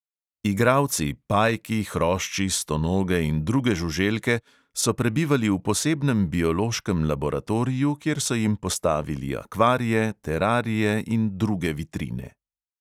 "Igralci", pajki, hrošči, stonoge in druge žuželke, so prebivali v posebnem biološkem laboratoriju, kjer so jim postavili akvarije, terarije in druge vitrine.